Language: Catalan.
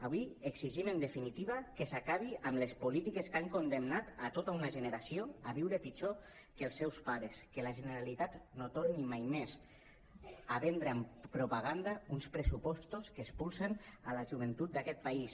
avui exigim en definitiva que s’acabi amb les polítiques que han condemnat tota una generació a viure pitjor que els seus pares que la generalitat no torni mai més a vendre amb propaganda uns pressupostos que expulsen la joventut d’aquest país